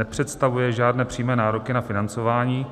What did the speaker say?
Nepředstavuje žádné přímé nároky na financování,